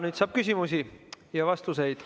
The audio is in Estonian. Nüüd saab küsimusi ja vastuseid.